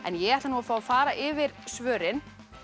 ég ætla að fá að fara yfir svörin